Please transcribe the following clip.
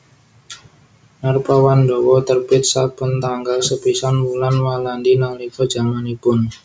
Narpawandawa terbit saben tanggal sepisan wulan Walandi nalika jamanipun